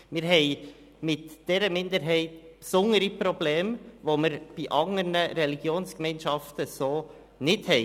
Wir haben mit dieser Minderheit besondere Probleme, die wir bei anderen Religionsgemeinschaften so nicht haben.